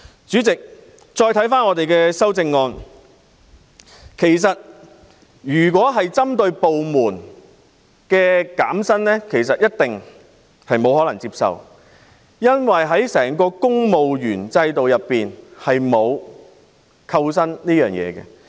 主席，如果修正案要求個別部門減薪，肯定不能接受，因為公務員制度下沒有扣薪機制。